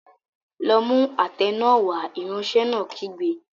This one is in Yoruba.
Lọ mú àtẹ náà wá! Ìránṣẹ́ náà kígbe.